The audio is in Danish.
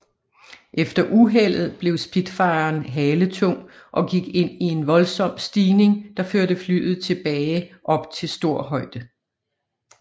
Efter uheldet blev Spitfiren haletung og gik ind i en voldsom stigning der førte flyet tilbage op til stor højde